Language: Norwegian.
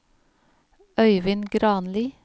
Øyvind Granli